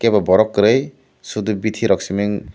bw borok kwri sudu bithi rok simin.